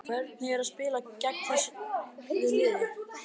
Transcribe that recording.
Hvernig var að spila gegn þessu liði?